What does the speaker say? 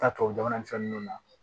Taa tubabu jamana ni fɛn ninnu na